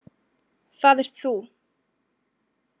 Það ert þú.